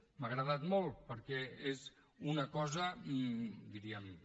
m’ha agradat molt perquè és una cosa diguem ne